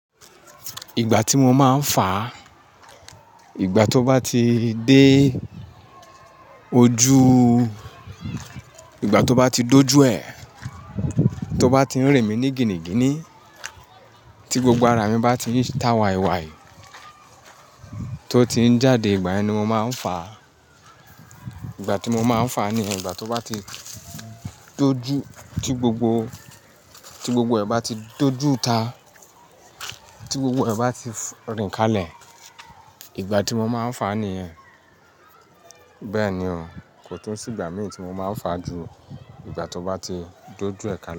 Ìgbà tí mo máa ń fàa, ìgbà tó bá ti dé ojuú, ìgbà tó bá ti dójú ẹ, tó bá ti rìn mí ní gini gini, tí gbogbo ara mi bá ti ń ta wàì wàì, tó ti ń jáde ìgbà ẹni mo máa ń faà. Ìgbà tí mo máa ń fà ní ìgbà tó bá ti dójú, tí gbogbo, tí gbogbo ẹ bá ti dójú ita, tí gbogbo ẹ bá ti rìn kalẹ̀, ìgbà tí mo máa ń fàa niyẹn. Bẹ́ẹ̀ni o, kò tún sì ìgbà mí tí mo máa ń fàa ju ìgbà tó bá ti dojú ẹ kale.